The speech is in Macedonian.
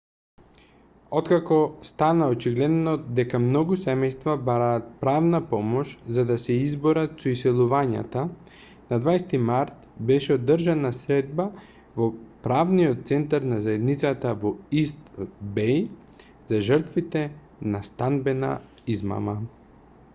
откако стана очигледно дека многу семејства бараат правна помош за да се изборат со иселувањата на 20 март беше одржана средба во правниот центар на заедницата во ист беј за жртвите на станбена измама